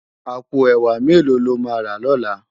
Àpó èwá méló ló má rá lòlá?